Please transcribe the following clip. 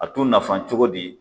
A t'u nafa cogo di ?